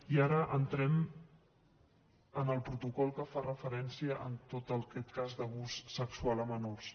i ara entrem en el protocol que fa referència en tot aquest cas d’abús sexual a menors